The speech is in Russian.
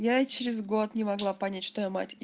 я через год не могла понять что я мать